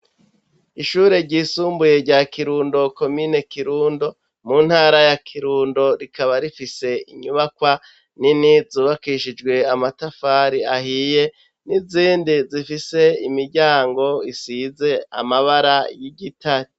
Ishure ry'isumbuye rya Kirundo komine kirundo, mu ntara ya kirundo, rikaba rifise inyubakwa nini zubakishijwe amatafari ahiye, n'izindi zifise imiryango isize amabara y'igitare.